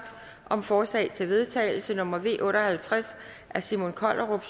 om forslag til vedtagelse nummer v otte og halvtreds af simon kollerup